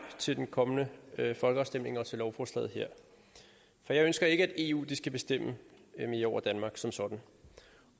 ved den kommende folkeafstemning og til lovforslaget her for jeg ønsker ikke at eu skal bestemme mere over danmark som sådan